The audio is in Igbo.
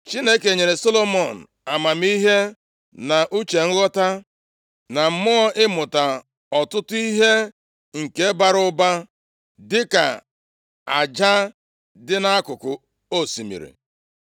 Chineke nyere Solomọn amamihe, na uche nghọta, na mmụọ ịmụta ọtụtụ ihe nke bara ụba dịka aja dị nʼakụkụ osimiri.